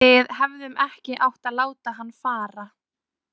Við hefðum ekki átt að láta hann fara.